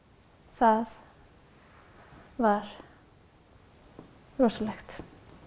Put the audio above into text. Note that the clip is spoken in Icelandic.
það var rosalegt